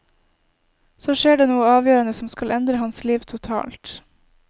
Så skjer det noe avgjørende som skal endre hans liv totalt.